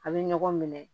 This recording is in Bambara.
A bɛ ɲɔgɔn minɛ